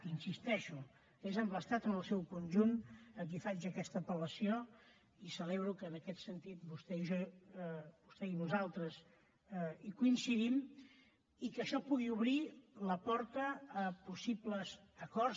hi insisteixo és a l’estat en el seu conjunt a qui faig aquesta apel·lació i celebro que en aquest sentit vostè i jo vostè i nosaltres coincidim i que això pugui obrir la porta a possibles acords